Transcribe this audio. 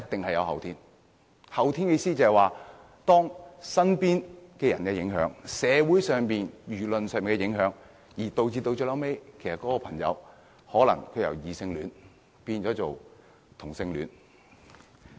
後天的意思就是，身邊人的影響，以及社會和輿論的影響，最後導致一個人由異性戀變成同性戀。